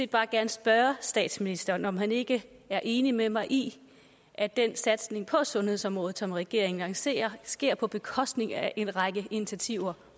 bare gerne spørge statsministeren om han ikke er enig med mig i at den satsning på sundhedsområdet som regeringen lancerer sker på bekostning af en række initiativer